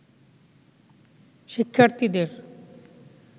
শিক্ষার্থীদের